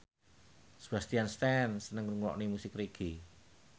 Sebastian Stan seneng ngrungokne musik reggae